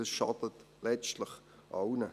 Das schadet letztlich allen.